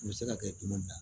U bɛ se ka kɛ tuma bɛɛ